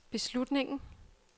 beslutningen